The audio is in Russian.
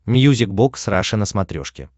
мьюзик бокс раша на смотрешке